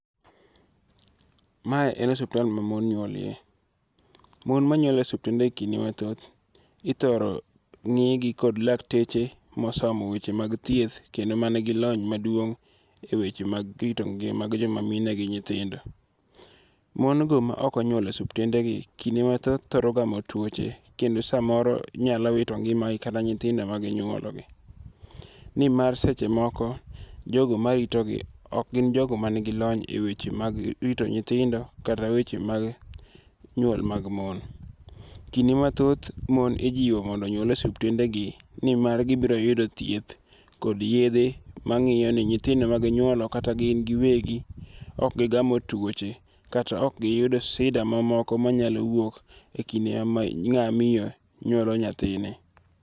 Mae en osiptal ma mon nyuolie. Mon manyuol e osiptende kinde mathoth, ithoro ng'igi kod lakteche mosomo weche mag thieth kendo man gi lony maduong' eweche mag rito ngima gi joma mine gi nyithindo. Mon go maok onyuol e osiptendegi kinde mathoth thoro gamo tuoche kendo samoro nyalo wito ngimagi kata nyithindo ma ginyuolo be. Nimar seche moko jogo maritogi ok gin jogo man gi lony eweche mag erito nyithindo kata weche mag nyuol mag mon. Kinde mathoth mon ijiwo mondo onyuol e osiptendegi, nimar gibiro yudo thieth kod yedhe mang'iyo ni nyithindo ma ginyuolo kata gin giwegi ok gigamo tuoche kata ok giyudo sida mamoko manyalo wuok ekinde ma ng'ama miyo nyuolo nyathine.